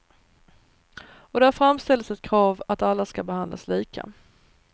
Och där framställdes ett krav att alla skall behandlas lika.